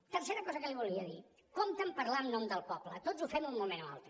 tercera cosa que li volia dir compte a parlar en nom del poble tots ho fem en un moment o altre